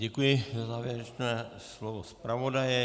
Děkuji za závěrečné slovo zpravodaje.